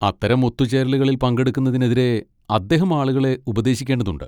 അത്തരം ഒത്തുചേരലുകളിൽ പങ്കെടുക്കുന്നതിനെതിരെ അദ്ദേഹം ആളുകളെ ഉപദേശിക്കേണ്ടതുണ്ട്.